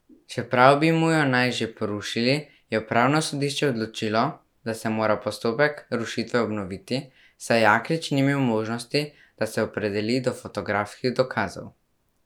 Čeprav bi mu jo naj že porušili, je upravno sodišče odločilo, da se mora postopek rušitve obnoviti, saj Jaklič ni imel možnosti, da se opredeli do fotografskih dokazov.